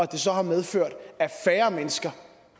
det så har medført at færre mennesker